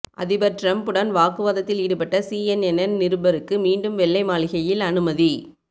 அதிபர் டிரம்ப்புடன் வாக்குவாதத்தில் ஈடுபட்ட சிஎன்என் நிருபருக்கு மீண்டும் வெள்ளை மாளிகையில் அனுமதி